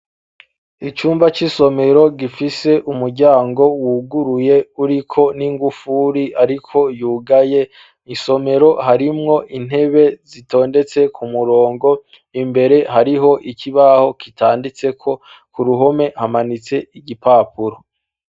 Icumba c'isomero gifise umuryango wuguruye uriko n'ingufuri, ariko yugaye isomero harimwo intebe zitondetse ku murongo imbere hariho ikibaho kitanditseko ku ruhome hamanitse igipapuro.